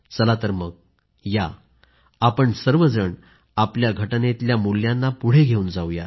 चला तर मग या आपण सर्वजण आपल्या राज्यघटनेतल्या मूल्यांना पुढे घेऊन जाऊ या